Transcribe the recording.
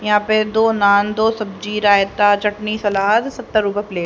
यहां पे दो नान दो सब्जी रायता चटनी सलाद सत्तर रूपए प्लेट ।